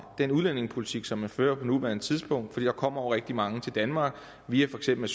den udlændingepolitik som man fører på nuværende tidspunkt for der kommer jo rigtig mange til danmark via for eksempel